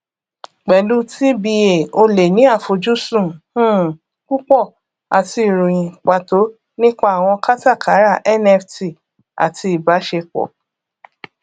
pẹlú tba o lè ní àfojúsùn um púpọ àti ìròyìn pàtó nípa àwọn kátàkárà nft àti ìbáṣepọ